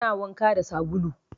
Ana wanka da sabulu